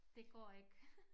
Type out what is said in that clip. Det går ikke